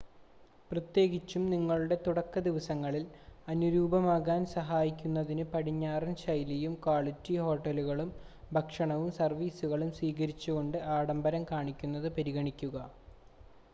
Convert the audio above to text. പ്രത്യേകിച്ചും നിങ്ങളുടെ തുടക്കദിവസങ്ങളിൽ അനുരൂപമാകാൻ സഹായിക്കുന്നതിന് പടിഞ്ഞാറൻ ശൈലിയും ക്വാളിറ്റി ഹോട്ടലുകളും ഭക്ഷണവും സർവീസുകളും സ്വീകരിച്ചുകൊണ്ട് ആഡംഭരം കാണിക്കുന്നത് പരിഗണിക്കുക